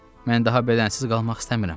Mən daha bədənsiz qalmaq istəmirəm.